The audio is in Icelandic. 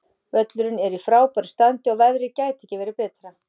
Völlurinn er í frábæru standi og veðrið gæti ekki verið betra.